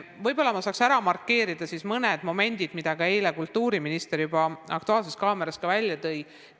Võib-olla ma saaks markeerida mõned momendid, mida eile kultuurimister ka "Aktuaalses kaameras" välja tõi.